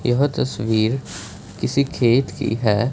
यह तस्वीर किसी खेत की है।